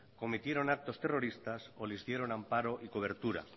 cometieron actos terroristas o les dieron amparo y cobertura